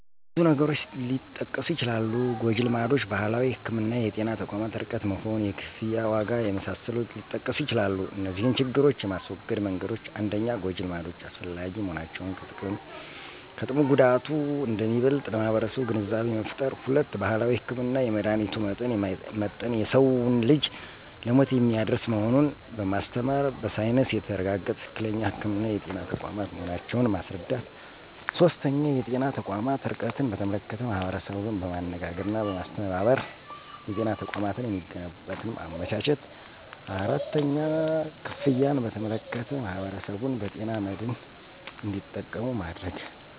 ብዙ ነገሮች ሊጠቀሱ ይችላሉ ጎጅልማዶች: ባህላዊ ህክምና: የጤና ተቋማት ርቀት መሆን: የክፍያ ዋጋ የመሳሰሉት ሊጠቀሱ ይችላሉ እነዚህን ችግሮች የማስወገጃ መንገዶች 1-ጎጂ ልማዶች አላስፈላጊ መሆናቸውን ከጥቅሙ ጉዳቱ አንደሚበልጥ ለማህበረሰቡ ግንዛቤ መፍጠር። 2-ባህላዊ ህክምና የመድሀኒቱ መጠን የማይመጠን የሰዉን ልጅ ለሞት የሚያደርስ መሆኑን በማስተማር በሳይንስ የተረጋገጠ ትክክለኛ ህክምና የጤና ተቋማት መሆናቸውን ማስረዳት። 3-የጤና ተቋማት ርቀትን በተመለከተ ማህበረሰቡን በማነጋገርና በማስተባበር የጤና ተቋማት የሚገነቡበትን ማመቻቸት 4-ክፍያን በተመለከተ ማህበረሰቡን በጤና መድን እንዱጠቀሙ ማድረግ።